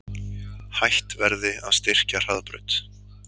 Hætt verði að styrkja Hraðbraut